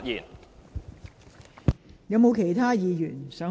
是否有其他議員想發言？